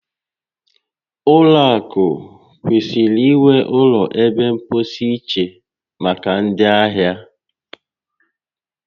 Ụlọ akụ kwesịrị inwe ụlọ ebe mposi iche maka ndị ahịa